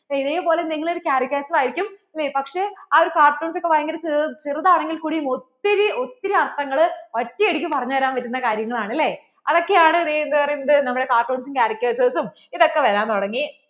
ഇതേപോലെ നിങ്ങൾ ഒരു caricature വായിക്കും അല്ലേ പക്ഷേ ആ ഒരു cartoons ഒക്കെ ഭയങ്കര ചെറുതാണെങ്കിൽ കൂടി ഒത്തിരി ഒത്തിരി അർഥങ്ങൾ ഒറ്റ അടിക്കു പറഞ്ഞു തരാൻപറ്റുന്ന കാര്യങ്ങൾ ആണ് അല്ലേ അതൊക്കെ ആണ് ദേ എന്ത് പറയുന്നത് നമ്മളെ cartoons ഉം caricature ഉം ഇതൊക്കെ വരാൻ തുടങ്ങി